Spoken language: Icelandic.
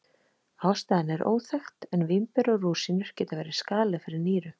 Ástæðan er óþekkt en vínber og rúsínur geta verið skaðleg fyrir nýru.